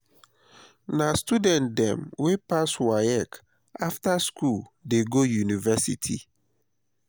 na student dem wey pass waec after skool dey go university.